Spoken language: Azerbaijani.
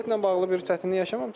Biletlə bağlı bir çətinlik yaşamamısınız?